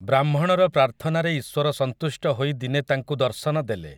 ବ୍ରାହ୍ମଣର ପ୍ରାର୍ଥନାରେ ଈଶ୍ୱର ସନ୍ତୁଷ୍ଟ ହୋଇ ଦିନେ ତାଙ୍କୁ ଦର୍ଶନ ଦେଲେ ।